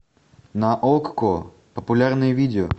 на окко популярные видео